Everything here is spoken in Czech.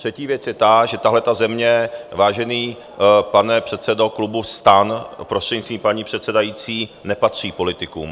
Třetí věc je ta, že tahleta země, vážený pane předsedo klubu STAN, prostřednictvím paní předsedající, nepatří politikům.